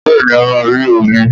Bẹ́ẹ̀ni a máa rí omi